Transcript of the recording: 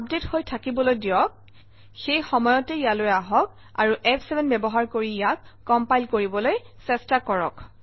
update হৈ থাকিবলৈ দিয়ক সেই সময়তে ইয়ালৈ আহক আৰু ফ7 ব্যৱহাৰ কৰি ইয়াক কম্পাইল কৰিবলৈ চেষ্টা কৰক